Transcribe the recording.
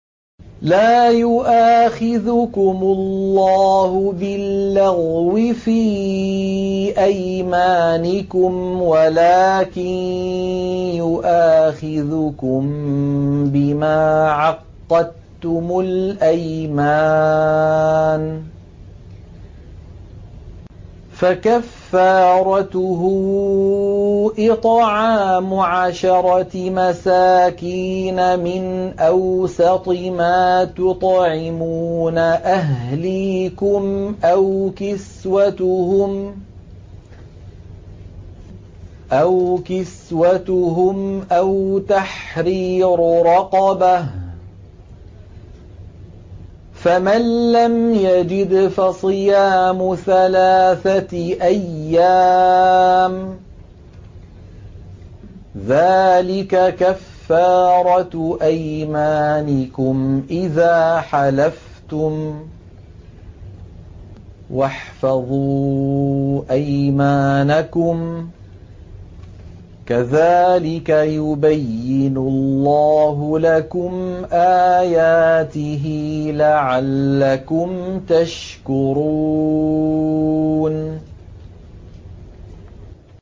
لَا يُؤَاخِذُكُمُ اللَّهُ بِاللَّغْوِ فِي أَيْمَانِكُمْ وَلَٰكِن يُؤَاخِذُكُم بِمَا عَقَّدتُّمُ الْأَيْمَانَ ۖ فَكَفَّارَتُهُ إِطْعَامُ عَشَرَةِ مَسَاكِينَ مِنْ أَوْسَطِ مَا تُطْعِمُونَ أَهْلِيكُمْ أَوْ كِسْوَتُهُمْ أَوْ تَحْرِيرُ رَقَبَةٍ ۖ فَمَن لَّمْ يَجِدْ فَصِيَامُ ثَلَاثَةِ أَيَّامٍ ۚ ذَٰلِكَ كَفَّارَةُ أَيْمَانِكُمْ إِذَا حَلَفْتُمْ ۚ وَاحْفَظُوا أَيْمَانَكُمْ ۚ كَذَٰلِكَ يُبَيِّنُ اللَّهُ لَكُمْ آيَاتِهِ لَعَلَّكُمْ تَشْكُرُونَ